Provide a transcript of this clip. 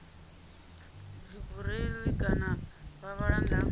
dzibureiḽi kana vha vhala nga